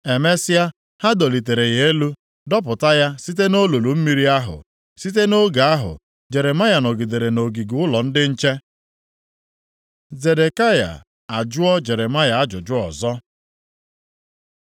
Emesịa, ha dọlịtere ya elu, dọpụta ya site nʼolulu mmiri ahụ. Site nʼoge ahụ, Jeremaya nọgidere nʼogige ụlọ ndị nche. Zedekaya ajụọ Jeremaya ajụjụ ọzọ